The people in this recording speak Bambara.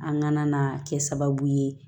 An ŋana kɛ sababu ye